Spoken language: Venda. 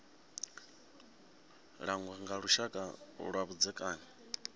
langwa nga lushaka lwa vhudzekani